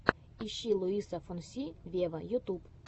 ищи луиса фонси вево ютуб